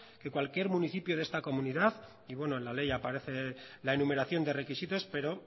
que cualquier municipio de esta comunidad y bueno en la ley aparece la enumeración de requisitos pero